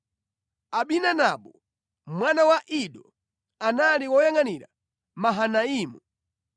Ahinadabu mwana wa Ido, anali woyangʼanira Mahanaimu;